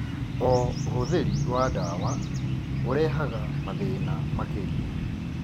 O ũhũthĩri wa ndawa ũrehaga mathĩna makĩria.